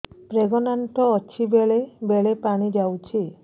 pregnant ଅଛି ବେଳେ ବେଳେ ପାଣି ଯାଉଛି